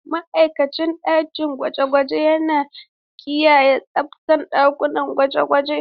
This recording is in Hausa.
Ma'aikacin ɗakin gwaje-gwaje yana kiyaye tsabtar ɗakunan gwaje-gwaje.